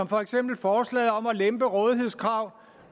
for eksempel forslaget om at lempe rådighedskravet